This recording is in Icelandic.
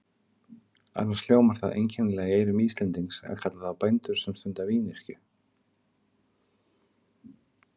Annars hljómar það einkennilega í eyrum Íslendings að kalla þá bændur sem stunda vínyrkju.